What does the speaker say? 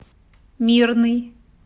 мирный